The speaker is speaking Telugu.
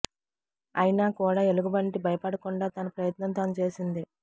అయినా కూడా ఎలుగుబంటి భయపడకుండా తన ప్రయత్నం తాను చేసింది